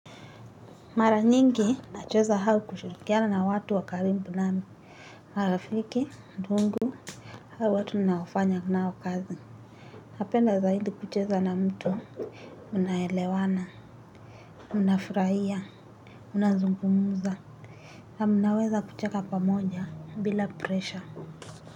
Mara nyingi nacheza au kushirikiana na watu wa karibu nami. Marafiki, ndugu, au watu ninaofanya nao kazi. Napenda zaidi kucheza na mto. Unaelewana, unafurahia, unazungumza. Na mnaweza kucheka pamoja bila presha.